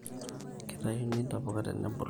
Kitayuni ntapuka tenebulu